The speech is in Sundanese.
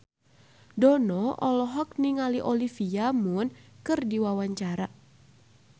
Dono olohok ningali Olivia Munn keur diwawancara